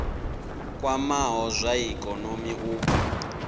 kwamaho zwa ikonomi u bva